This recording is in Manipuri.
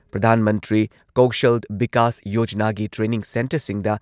ꯄ꯭ꯔꯙꯥꯟ ꯃꯟꯇ꯭ꯔꯤ ꯀꯧꯁꯜ ꯕꯤꯀꯥꯁ ꯌꯣꯖꯅꯥꯒꯤ ꯇ꯭ꯔꯦꯅꯤꯡ ꯁꯦꯟꯇꯔꯁꯤꯡꯗ